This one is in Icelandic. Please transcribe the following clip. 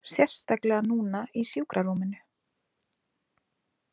Sérstaklega núna í sjúkrarúminu.